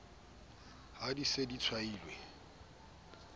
ha di se di tshwailwe